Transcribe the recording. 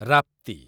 ରାପ୍ତି